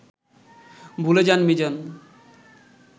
ভুলে যান মিজান